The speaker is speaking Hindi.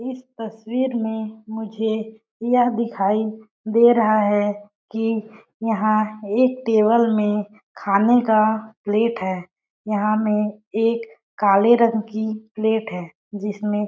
इस तस्वीर में मुझे यह दिखाई दे रहा है कि यहाँ एक टेबल में खाने का प्लेट है यहाँ में एक काले रंग की प्लेट है जिसमे --